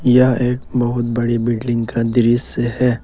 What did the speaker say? यह एक बहुत बड़ी बिल्डिंग का दृश्य है।